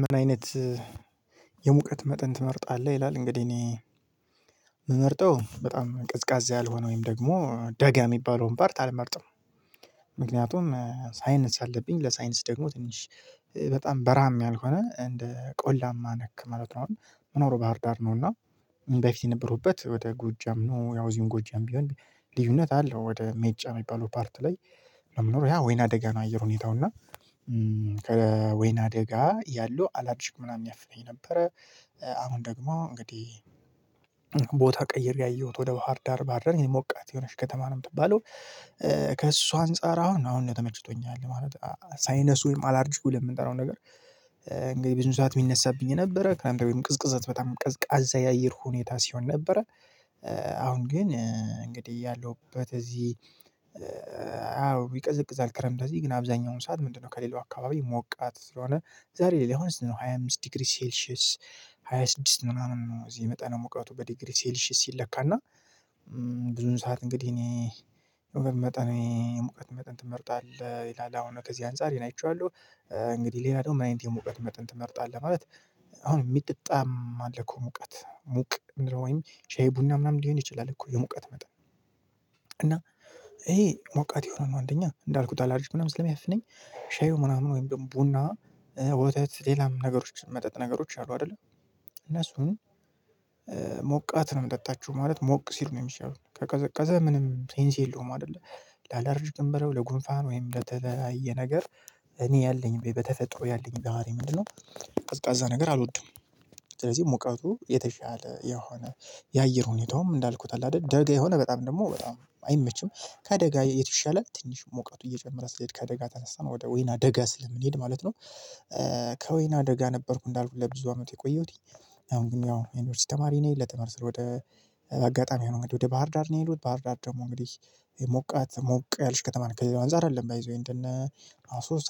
ምን አይነት የሙቀት መጠን ትመርጣለህ? ይላል እንግዲህ እኔ የምመርጠው በጣም ቀዝቃዛ ያልሆነ ወይም ደግሞ ደጋ የሚባለውን ፓርት አልመርጥም። ምክንያቱም ሳይነስ አለብኝ ለሳይነስ ደግሞ ትንሽ በጣም በረሃም ያልሆነ እንደ ቆላማ ነክ ማለት ነው። አሁን የምኖረው ባህር ዳር ነው። እና በፊት የነበርሁበት ወደ ጎጃም ነው ያው እዚህም ጎጃም ቢሆን ልዩነት አለው። ወደ ሜጫ የሚባለው ፓርት ላይ የምኖረው ያ ወይና ደጋ ነው። አየር ሁኔታው እና ከወይና ደጋ ያለው አላርጅክ ምናምን ያፍነኝ ነበረ። አሁን ደግሞ እንግዲህ ቦታ ቀይሬ አየሁት ወደ ባህር ዳር ባህርዳር ሞቃት የሆነች ከተማ ነው የምትባለው። ከእሷ አንፃር አሁን አሁን ነው ተመችቶኝ ያለ ማለት ሳይነሱ ወይም አላርጂኩ ብለን የምንጠራው ነገር። እንግዲህ ብዙውን ሰዓት የሚነሳብኝ የነበረ ክረምት ታይም ቅዝቅዘት በጣም ቀዝቃዛ ያየር ሁኔታ ሲሆን ነበረ። አሁን ግን እንግዲህ ያለሁበት እዚህ። አዎ ይቀዘቅዛል። ክረምት እዚህ ግን አብዛኛውን ሰዓት ምንድንነው ከሌላው አካባቢ ሞቃት ስለሆነ ዛሬ ላይ አሁን ስንት ነው ሃያ አምስት ዲግሪ ሴልሺየስ። ሃያ ስድስት ምናምን ነው እዚህ መጠነሙቀቱ በዲግሪ ሴልሺየስ ሲለካ እና ብዙን ሰዓት እንግዲህ እኔ መጠኔ የሙቀት መጠን ትመርጣለህ ይላል አሁን ከዚህ አንፃር ይህን አይቼዋለሁ። እንግዲህ ሌላ ደግሞ ምን አይነት የሙቀት መጠን ትመርጣለህ? ማለት አሁን የሚጠጣም አለ እኮ ሙቀት ሙቅ እየምንለው ወይም ሻይ ቡና ምናምን ሊሆን ይችላል እኮ የሙቀት መጠን። እና ይሄ ሞቃት የሆነ ነው አንደኛ እንዳልኩት አላልርጅክ ምናምን ስለሚያፍነኝ ሻዩ ምናምን ወይም ቡና ወተት ሌላም ነገሮች መጠጥ ነገሮች አሉ አይደለ። እነሱን ሞቃት ነው የምጠጣችው ማለት ሞቅ ሲሉ ነው የሚሻለው ከቀዘቀዘ ምንም ሴንስ የለውም። አይደለ። ላለርጅክም በለው ለጉንፋን ወይም ለተለያየ ነገር እኔ ያለኝ በተፈጥሮ ያለኝ ባህሪ ምንድነው? ቀዝቃዛ ነገር አልወድም። ስለዚህ ሙቀቱ የተሻለ የሆነ የአየር ሁኔታውም እንዳልኩት አለ አይደል ደጋ የሆነ በጣም ደግሞ በጣም አይመችም። ከደጋ የተሻለ ትንሽ ሙቀቱ እየጨመረ ሲሄድ ከደጋ ተነስተን ወደ ወይና ደጋ ስለምንሄድ ማለት ነው። ከወይና አደጋ ነበርኩ እንዳልኩት ለብዙ አመት የቆየሁት። አሁን ግን ያው የዩኒቨርስቲ ተማሪ ነን ለትምህርት ስል ወደ አጋጣሚ ነው። ወደ ባህር ዳር ነው የሄድኩት። ባህር ዳር ደግሞ እንግዲህ ሞቃት ሞቅ ያልች ከተማ ናት። ከሌላው አንፃር አይደለም ባይ ዘ ዌይ እንደነ አሶሳ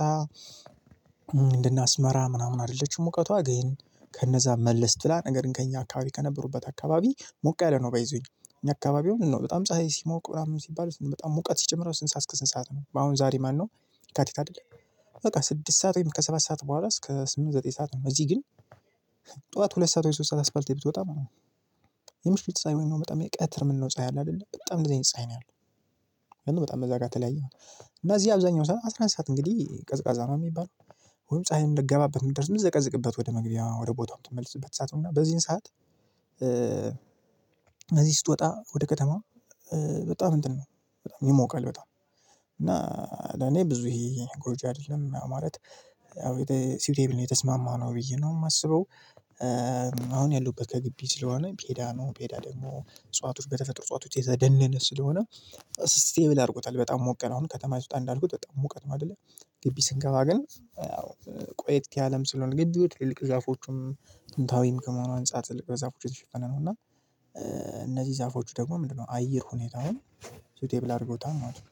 እንደነ አስመራ ምናምን አይደለችም። ሙቀቷ ግን ከነዛ መለስ ብላ ነገርግን ከእኛ አካባቢ ከነበርኩበት አካባቢ ሞቅ ያለ ነው። ባይ ዘ ዌይ። እኛ አካባቢ ነው በጣም ፀሀይ ሲሞቅ ምናምን ሲባል በጣም ሙቀት ሲጨምር ከስንት ሰዓት እስከ ስንት ሰዓት ነው አሁን ዛሬ ማን ነው? የካቲት አይደል? በቃ ስድስት ሰዓት ወይም ከሰባት ሰዓት በኋላ እስከ ስምንት ዘጠኝ ሰዓት እዚህ ግን። ጠዋት ሁለት ሰዓት ወይ ሶስት ሰዓት አስፋልት ብትወጣ ማለት ነው። የምሽት ፀሀይ ወይም ደግሞ በጣም ይኸ ቀትር የምንለው ፀሀይ አለ አይደለ በጣም እንደዚህ አይነት ፀሀይ ነው ያለው። በጣም እዛ ጋር ተለያየ ማለት ነው። እና እዚህ አብዛኛው ስራ ሰዓት አስራ አንድ ሰዓት እንግዲህ ቀዝቃዛ ነው አ የሚባለው። ወይም ፀሀይም ልትገባበት የምትደርስ የምትዘቀዝቅበት ወደ መግቢያዋ ወደ ቦታዋ የምትመልስበት ሰዓት ነውና በዚህን ሰዓት እዚህ ስትወጣ ወደ ከተማ በጣም እንትን ነው። ይሞቃል በጣም። እና ለኔ ብዙ ይሄ ጎጅ አይደለም። ያው ማለት ያው ሲውቴብል ነው የተስማማነው ብዬ ነው የማስበው። አሁን ያለሁበት ከግቢ ስለሆነ ፔዳ ነው ፔዳ ደግሞ እጽዋቶች በተፈጥሮ እጽዋቶች የዛ ደን አይነት ስለሆነ። ስቴብል አድርጎታል በጣም ሞቅ ያለ ሆኖ ከተማ ስትወጣ እንዳልኩት በጣም ሙቀት ነው አይደለ። ግቢ ስንገባ ግን ያው ቆይት ያለም ስለሆነ ግቢው ትልልቅ ዛፎቹም ጥንታዊም ከመሆኑ አንፃር ትልቅ በዛፎች የተሸፈነ ነው። እና እነዚህ ዛፎች ደግሞ ምንድንነው አየር ሁኔታውን ሲውቴብል አድርገውታል ማለት ነው።